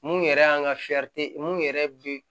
Mun yɛrɛ y'an ka mun yɛrɛ bɛ